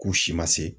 K'u si ma se